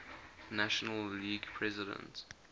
national league president